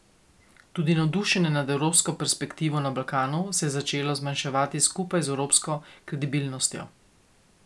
Tudi navdušenje nad evropsko perspektivo na Balkanu se je začelo zmanjševati skupaj z evropsko kredibilnostjo.